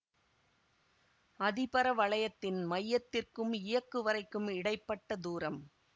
அதிபரவளையத்தின் மையத்திற்கும் இயக்குவரைக்கும் இடை பட்ட தூரம்